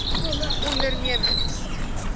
ondernemings